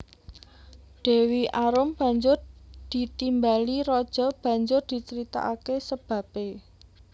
Dewi Arum banjur ditimbali raja banjur dicaritakake sababe